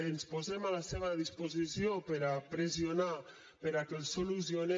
ens posem a la seva disposició per a pressionar perquè els solucionen